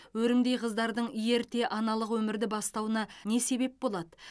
өрімдей қыздардың ерте аналық өмірді бастауына не себеп болады